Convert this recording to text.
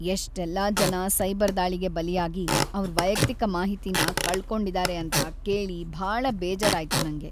ಎಷ್ಟೆಲ್ಲ ಜನ ಸೈಬರ್ ದಾಳಿಗೆ ಬಲಿಯಾಗಿ ಅವ್ರ್ ವೈಯಕ್ತಿಕ ಮಾಹಿತಿನ ಕಳ್ಕೊಂಡಿದಾರೆ ಅಂತ ಕೇಳಿ ಭಾಳ ಬೇಜಾರಾಯ್ತು ನಂಗೆ.